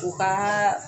U ka